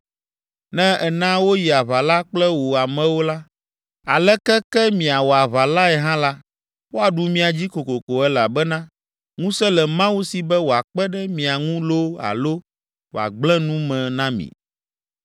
Ne èna woyi aʋa la kple wò amewo la, aleke ke miawɔ aʋa lae hã la, woaɖu mia dzi kokoko elabena ŋusẽ le Mawu si be wòakpe ɖe mia ŋu loo alo wòagblẽ nu me na mi.”